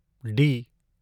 D